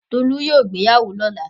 Tolu yóò gbéyàwó lọ́la.